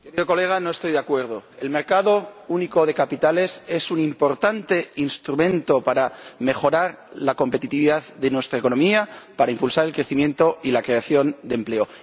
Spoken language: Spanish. Señoría, no estoy de acuerdo. El mercado único de capitales es un importante instrumento para mejorar la competitividad de nuestra economía y para impulsar el crecimiento y la creación de empleo.